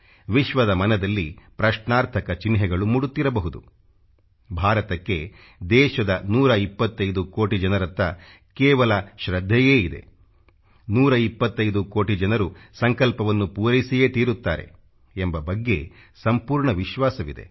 ವಿಶ್ವದ ಮನದಲ್ಲಿ ಪ್ರಶ್ನಾರ್ಥಕ ಚಿನ್ಹೆಗಳು ಮೂಡುತ್ತಿರಬಹುದು ಭಾರತಕ್ಕೆ ದೇಶದ 125 ಕೋಟಿ ಜನರತ್ತ ಕೇವಲ ಶೃದ್ಧೆಯೇ ಇದೆ 125 ಕೋಟಿ ಜನರು ಸಂಕಲ್ಪವನ್ನು ಪೂರೈಸಿಯೇ ತೀರುತ್ತಾರೆ ಎಂಬ ಬಗ್ಗೆ ಸಂಪೂರ್ಣ ವಿಶ್ವಾಸವಿದೆ